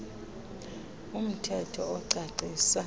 um thetho ocacisa